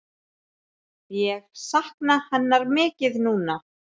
Ég sakna hennar mikið núna.